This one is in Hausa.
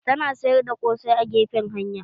Tana sayar da ƙosai a gefen hanya